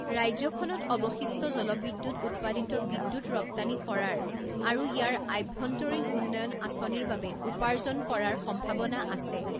ৰাজ্যখনত অৱশিষ্ট জলবিদ্যুৎ উৎপাদিত বিদ্যুৎ ৰপ্তানি কৰাৰ আৰু ইয়াৰ আভ্যন্তৰীণ উন্নয়ন আঁচনিৰ বাবে উপাৰ্জন কৰাৰ সম্ভাৱনা আছে।